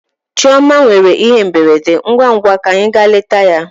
Chioma nwere ihe mberede, ngwa ngwa ka anyị gaa leta ya.